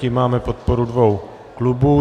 Tím máme podporu dvou klubů.